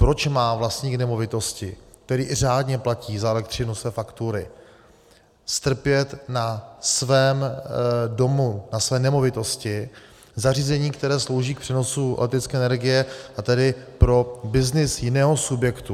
Proč má vlastník nemovitosti, který i řádně platí za elektřinu své faktury, strpět na svém domu, na své nemovitosti zařízení, které slouží k přenosu elektrické energie, a tedy pro byznys jiného subjektu?